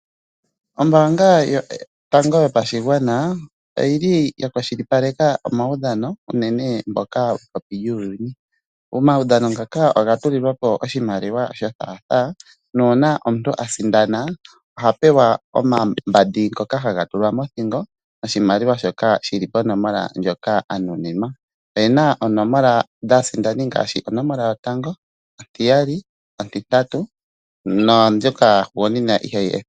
Ombaanga yotango yopashigwana oyi li ya kwashilipaleka omawudhano uunene ngoka gekopi lyuuyuni. Omawudhano ngaka oga tulilwa po oshimaliwa sho thatha, nuuna omuntu a sindana oha pewa omambandi ngoka haga tulwa mothingo noshimaliwa shoka shil i ponomola ndjoka a nuninwa. Oye na oonomola dhaasindani ngaashi onomola yotango, ontiyali, ontitatu naambyoka yahugunina.